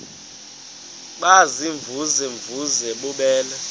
baziimvuze mvuze bububele